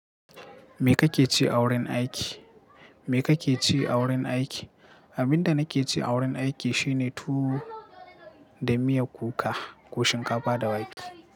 Me kake ci a wurin aiki? Me kake ci a wurin aiki? Abin da nake ci a wurin aiki shine tuwo da miyan kuka ko shinkafa da wake.